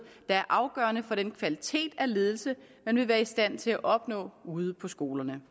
er afgørende for den kvalitet af ledelse man vil være i stand til at opnå ude på skolerne